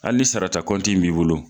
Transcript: Hali ni sara ta b'i bolo.